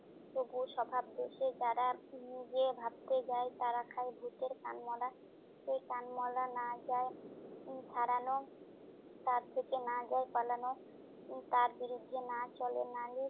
তবুও স্বভাব দোষে যারা নিজে ভাবতে যায় তারা খায় ভুতের কানমলা। সেই কানমলা না যায় উম ছাড়ানো, তার থেকে না যায় পালানো, তার বিরুদ্ধে না চলে নালিশ।